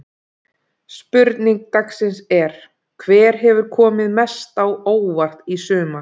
Spurning dagsins er: Hver hefur komið mest á óvart í sumar?